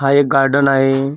हा एक गार्डन आहे गार्डनम .